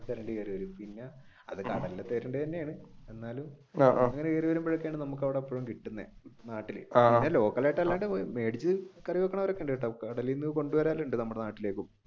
തിരണ്ടി കേറി വരും അത് കടലിലെ തിരണ്ടി തന്നെയാണ് എന്നാലും കേറിവരുമ്പോഴെത്തെക്കാണ് നമ്മുക്ക് അവിടെ എപ്പൊഴും കിട്ടുന്നെ മേടിച്ചു കറിവെക്കുന്നവർ ഒക്കെയുണ്ടാട്ടാ. കടലിൽ നിന്ന് കൊണ്ടുവരലുമുണ്ട്‌ നമ്മുടെ നാട്ടിലേക്ക്